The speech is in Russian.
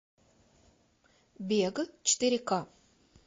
бег четыре ка